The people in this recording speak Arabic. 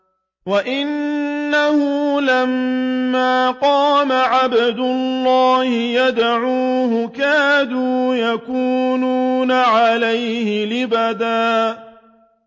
وَأَنَّهُ لَمَّا قَامَ عَبْدُ اللَّهِ يَدْعُوهُ كَادُوا يَكُونُونَ عَلَيْهِ لِبَدًا